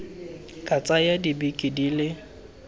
ka tsaya dibeke di le